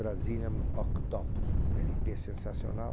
Brazilian Octopus, um ELE PÊ sensacional.